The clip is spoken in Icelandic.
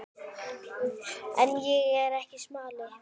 En ég er ekki smali.